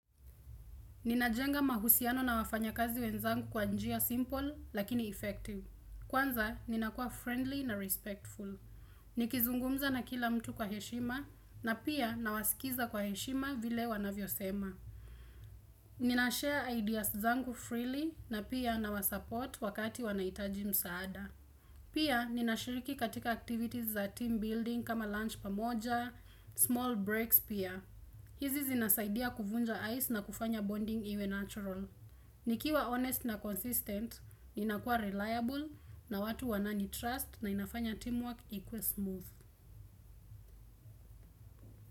Ninajenga mahusiano na wafanyakazi wenzangu kwa njia simple, lakini effective. Kwanza, ninakua friendly na respectful. Nikizungumza na kila mtu kwa heshima, na pia nawasikiza kwa heshima vile wanavyosema. Ninashare ideas zangu freely, na pia nawasupport wakati wanahitaji msaada. Pia, ninashiriki katika activities za team building kama lunch pamoja, small breaks pia. Hizi zinasaidia kuvunja ice na kufanya bonding iwe natural. Nikiwa honest na consistent, ninakuwa reliable na watu wananitrust na inafanya teamwork ikuwe smooth.